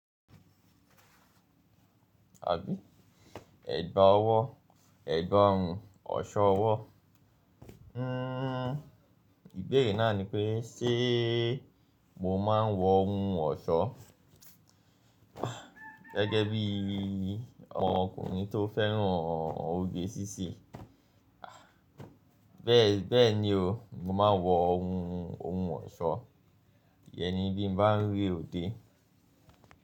Àbí? Ẹ̀gbá ọwọ́, ẹ̀gbá ohun ọ̀ṣọ́ ọwọ́. Hmm ìbéèrè náà ni pé ṣe mó máa ń wọ ohun ọ̀ṣọ́ gẹ́gẹ́ bí ọkùnrin tó fẹ́ràn oge síṣe Bẹ́ẹ̀ ni o, mo máa ń wọ ohun ọ̀ṣọ́ yẹn ní bí n bá ń re ode.